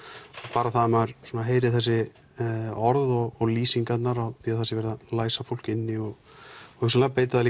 bara það að maður heyri þessi orð og lýsingarnar á því að það sé verið að læsa fólk inni og hugsanlega beita það